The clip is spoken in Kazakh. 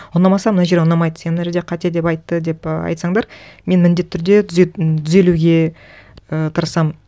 ұнамаса мына жері ұнамайды сен мына жерде қате деп айтты деп айтсаңдар мен міндетті түрде түзелуге ы тырысамын